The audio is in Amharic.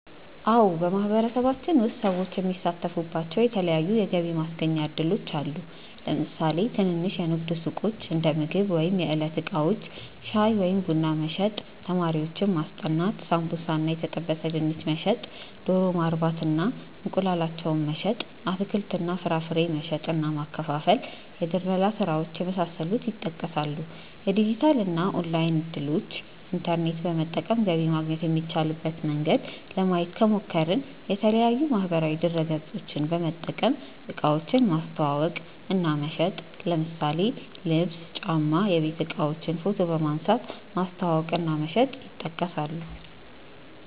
አዎ በማህበረሰባችን ውስጥ ሰዎች የሚሳተፉባቸዉ የተለያዪ ተጨማሪ የገቢ ማስገኛ እድሎች አሉ። ለምሳሌ ትንንሽ የንግድ ሱቆች(እንደምግብ ወይም የዕለት እቃዎች) ፣ ሻይ ወይም ቡና መሸጥ፣ ተማሪዎችን ማስጠናት፣ ሳምቡሳ እና የተጠበሰ ድንች መሸጥ፣ ዶሮ ማርባት እና እንቁላላቸውን መሸጥ፣ አትክልት እና ፍራፍሬ መሸጥ እና ማከፋፈል፣ የድለላ ስራዎች የመሳሰሉት ይጠቀሳሉ። የዲጂታል እና ኦንላይን እድሎችን( ኢንተርኔት በመጠቀም ገቢ ማግኘት የሚቻልበት መንገድ) ለማየት ከሞከርን፦ የተለያዪ ማህበራዊ ድረገፆችን በመጠቀም እቃዎችን ማስተዋወቅ እና መሸጥ ለምሳሌ ልብስ፣ ጫማ፣ የቤት እቃዎችን ፎቶ በመንሳት ማስተዋወቅ እና መሸጥ ይጠቀሳሉ።